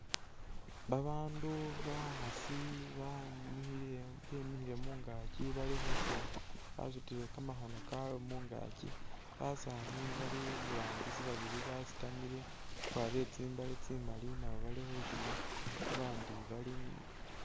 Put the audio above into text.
Babandu bakhaasi banyukhile bemikhile mungaakyi bali khushina, basutile kamakhono kabwe mungaakyi, basaani bali iburangisi babili basitamile bakwarire tsi'mbaale tsimali nabo bali khushina babandi bali inyuma